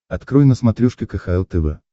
открой на смотрешке кхл тв